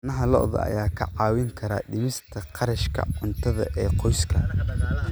Caanaha lo'da ayaa kaa caawin kara dhimista kharashka cuntada ee qoysaska.